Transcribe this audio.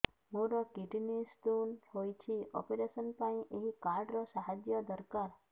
ମୋର kidney stone ହଇଛି operation ପାଇଁ ଏହି କାର୍ଡ ର ସାହାଯ୍ୟ ଦରକାର